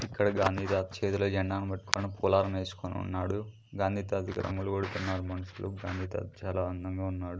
ఇక్కడ గాంధీ తాత చేతిలో జెండాను పట్టుకొని పూలలం వేసుకొని ఉన్నాడు గాంధీ తాతకి రంగులు కొడుతున్నారు మనుషులు గాంధీ తాత చాలా అందంగా ఉన్నాడు.